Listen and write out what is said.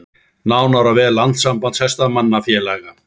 Nánar á vef Landssambands hestamannafélaga